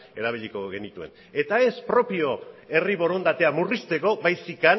erabiliko genituen eta ez propio herri borondatea murrizteko baizik